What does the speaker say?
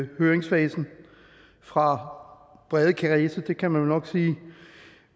høringsfasen fra brede kredse det kan man vel nok sige